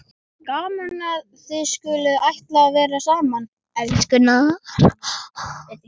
Gaman að þið skuluð ætla að vera saman, elskurnar!